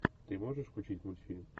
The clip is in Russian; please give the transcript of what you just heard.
ты можешь включить мультфильм